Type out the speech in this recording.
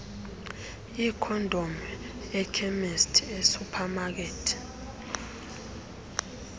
iikhondom ekhemisti esuphamakethi